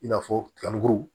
I n'a fɔ tɔnw